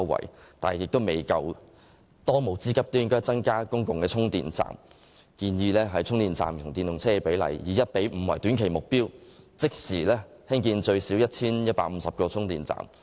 不過，這舉措仍然不足夠，當務之急是增加公共充電站，而我們建議將充電站與電動車的比例訂為 1：5 作為短期目標，即時興建最少 1,150 個充電站。